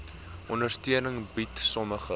ondersteuning bied sommige